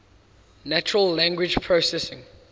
natural language processing